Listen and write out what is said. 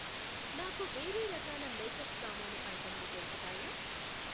నాకు వేరే రకాల మేకప్ సామాను ఐటెంలు దొరుకుతాయా?